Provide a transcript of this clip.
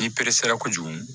I peresera kojugu